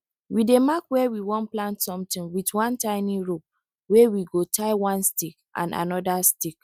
we dey mark where we wan plant somtin with one tiny rope wey we go tie one stick and anoda stick